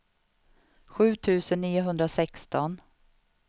sju tusen niohundrasexton